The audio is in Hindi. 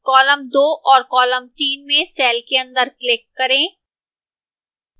column 2 और row 3 में cell के अंदर click करें